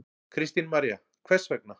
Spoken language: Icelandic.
Kristín María: Hvers vegna?